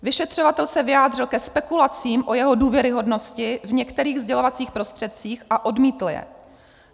Vyšetřovatel se vyjádřil ke spekulacím o jeho důvěryhodnosti v některých sdělovacích prostředcích a odmítl je.